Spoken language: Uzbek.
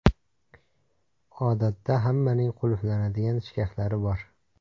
Odatda hammaning qulflanadigan shkaflari bor.